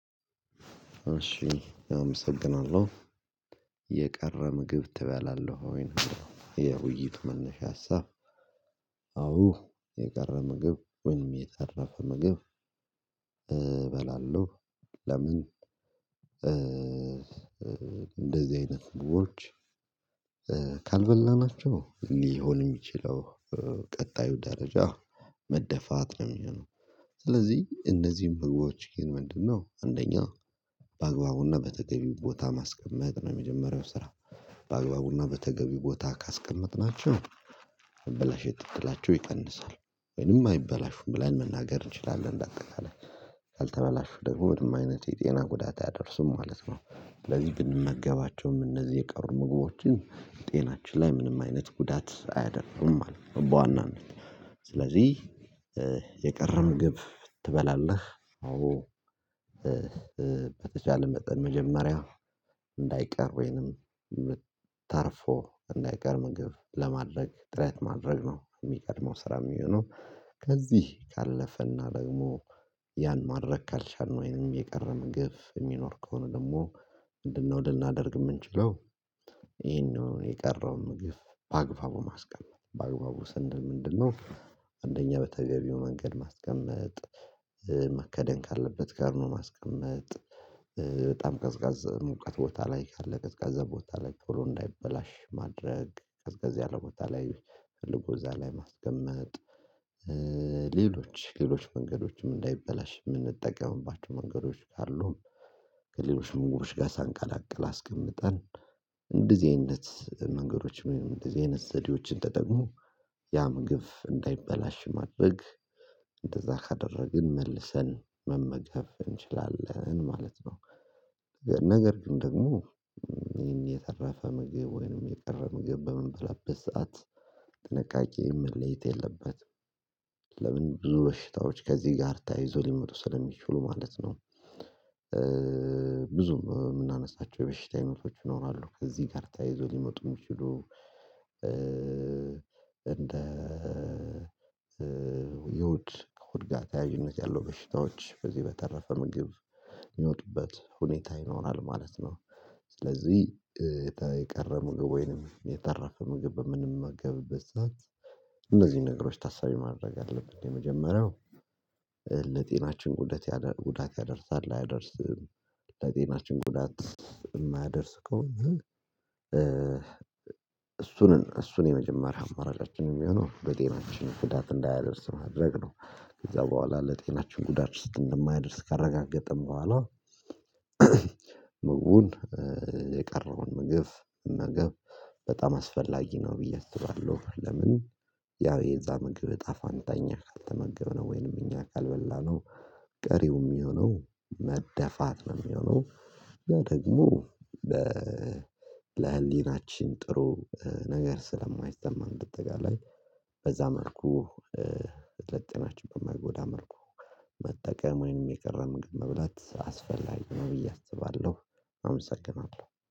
እሺ አመሰግናለሁ የቀረ ምግብ ትበላለህ ወይ? የውይይት መነሻ ሀሳብ አዎ የቀረ ምግብ ወይም የተረፈ ምግብ። እበላለሁ ለምን እንደዚህ አይነት ምግቦች። ካልበላናቸው ሊሆን የሚችለው ቀጣዩ ደረጃ መደፋት ነው የሚሆነው። ስለዚህ እነዚህን ምግቦች ግን ምንድነው አንደኛ በአግባቡና በተገቢው ቦታ ማስቀመጥ ነው የመጀመሪያው ስራ በአግባቡና በተገቢው ቦታ ካስቀመጥናቸው። እሺ አመሰግናለሁ የቀረ ምግብ ትበላለህ ወይ? ነው የሚለው የውይይቱ መነሻ ሀሳብ አዎ የቀረ ምግብ ወይንም የተረፈ ምግብ እበላለሁ ጤናችን ላይ ምንም አይነት ጉዳት አያደርጉም። በዋናነት ስለዚህ የቀረው ምግብ ትበላለህ? አዎ በተቻለ መጠን መጀመሪያ እንዳይቀር ወይንም ምት ታርፎ እንዳይቀር ምግብ ለማድረግ ጥሪት ማድረግ ነው። የሚቀድመው ስራ የሚሆነው ከዚህ ካለፈና ደግሞ ያን ማድረግ ካልቸልን ወይንም የቀረበ ምግብ የሚኖር ከሆነ ደግሞ ምንድነው ልናደርግ የምንችለው? ይሄንን የቀረውን ምግብ በአግባቡ ማስቀመጥ በአግባቡ ሰንል ምንድነው አንደኛ በተገቢው መንገድ ማስቀመጥ። ማከደን ካለበት ጋር ነው ማስቀመጥ በጣም ቀዝቃዛ ሙቀት ቦታ ላይ ካለ ቀዝቀዛ ቦታ ላይ ቶሎ እንዳይበላሽ ማድረግ ቀዝቃዛ ያለ ቦታ ላይ ፈልጎ እዚያ ላይ ማስቀመጥ። ሌሎች ሌሎች መንገዶችም እንዳይበላሽ የምንጠቀምባቸው መንገዶች ካሉም ከሌሎች ምግቦች ጋር ሳንቀላቀል አስቀምጠን እንደዚህ አይነት ነገሮች ወይንም እንደዚህ አይነት ዘዴዎችን ተጠቅሞ ያ ምግብ እንዳይበላሽ ማድረግ እንደዚያ ካደረግን መልሰን መመገብ እንችላለን ማለት ነው። ነገር ግን ደግሞ ይሄን የተረፈ ምግብ ወይንም የቀረ ምግብ በምንበላበት ሰዓት ጥንቃቄ መለየት የለበትም። ለምን ብዙ በሽታዎች ከዚህ ጋር ታያይዞ ሊመጡ ስለሚችሉ ማለት ነው። ብዙም የምናነሳቸው የበሽታ አይነቶች ይኖራሉ ከዚህ ጋር ተያይዞ ሊመጡ የሚችሉ እንደ የሆድ ከሆድ ተያይነት ያለው በሽታዎች በዚህ በተረፈ ምግብ የሚመጡበት ሁኔታ ይኖራል ማለት ነው። ስለዚህ የቀረ ምግብ ወይንም የተረፈ ምግብ በምንመገብበት ሰዓት እነዚህ ነገሮች ታሳቢ ማድረግ አለብን። የመጀመሪያው ለጤናችን ጉዳት ያደርሳል አያደርስም ለጤናችን ጉዳት የማያደርስ ከሆነ እሱን እሱን የመጀመሪያ አማራጫችን የሚሆነው በጤናችን ጉዳት እንዳያደርስ ማድረግ ነው። ከዚያ በኋላ ለጤናችን ጉዳት ውስጥ እንደማያደርስ ካረጋገጥን በኋላ ምግቡን የቀረውን ምግብ ምግብ በጣም አስፈላጊ ነው ብዬ አስባለሁ። ለምን ያው የዚያ ምግብ እጣ ፋንታ እኛ ካልተመገብነው ወይንም እኛ ካልበላነው ቀሪው የሚሆነው መደፋት ነው የሚሆነው። ያ ደግሞ በ ለህሊናችን ጥሩ ነገር ስለማይሰማ እንደ አጣቃላይ በዚያ መልኩ ለጤናችን በማይጎዳን መልኩ መጠቀም ወይንም የቀረ ምግብ መብላት አስፈላጊ ነው ብዬ አስባለሁ። አመሰግናለሁ